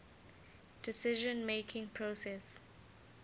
decision making process